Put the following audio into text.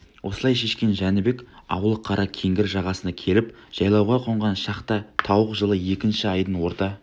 осылай шешкен жәнібек аулы қара кеңгір жағасына келіп жайлауға қонған шақта тауық жылы екінші айдың орта